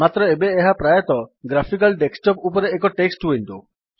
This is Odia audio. ମାତ୍ର ଏବେ ଏହା ପ୍ରାୟତଃ ଗ୍ରାଫିକାଲ୍ ଡେସ୍କଟପ୍ ଉପରେ ଏକ ଟେକ୍ସଟ୍ ୱିଣ୍ଡୋ